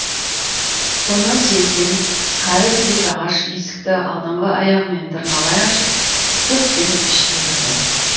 соны сезген кәрі төбет ағаш есікті алдыңғы аяғымен тырналай ашып зып беріп ішке кірді